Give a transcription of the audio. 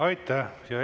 Aitäh!